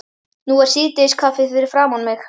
Nú er síðdegiskaffið fyrir framan mig.